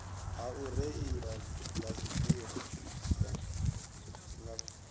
ha u reila baisigila nga